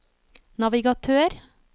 navigatør